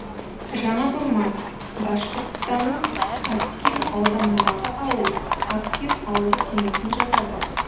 жаңа бурма башқұртстанның аскин ауданындағы ауыл аскин ауылдық кеңесіне жатады